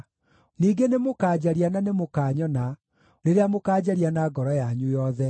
Ningĩ nĩmũkanjaria na nĩmũkanyona rĩrĩa mũkaanjaria na ngoro yanyu yothe.